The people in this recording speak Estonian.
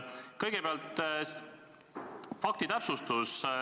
Kõigepealt faktitäpsustus.